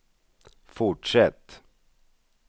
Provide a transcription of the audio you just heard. fortsätt